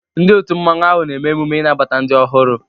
Ndị Òtù Mmanwu ahụ na-eme emume inabata ndị ọhụrụ.